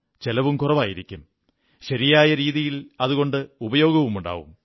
ചെലവും കുറവായിരിക്കും ശരിയായ രീതിയിൽ അതുകൊണ്ട് ഉപയോഗവുമുണ്ടാകും